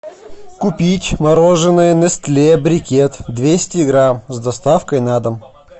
купить мороженое нестле брикет двести грамм с доставкой на дом